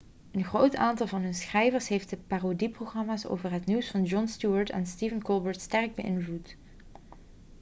een groot aantal van hun schrijvers heeft de parodieprogramma's over het nieuws van jon stewart en stephen colbert sterk beïnvloed